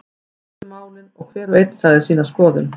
Við ræddum málin og hver og einn sagði sína skoðun.